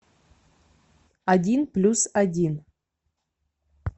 один плюс один